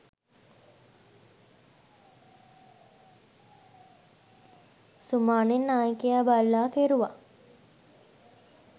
සුමානෙන් නායකයා බල්ලා කෙරුවා